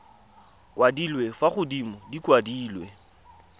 kwadilwe fa godimo di kwadilwe